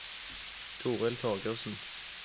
Toril Torgersen